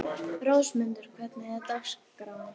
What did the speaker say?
Rósmundur, hvernig er dagskráin?